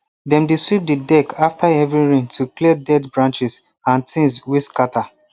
dem dey sweep the deck after heavy rain to clear dirt branches and things wey scatter